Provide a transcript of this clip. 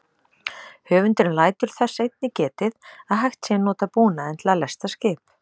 Höfundurinn lætur þess einnig getið að hægt sé að nota búnaðinn til að lesta skip.